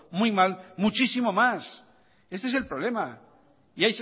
muy mal muchísimo más este es el problema y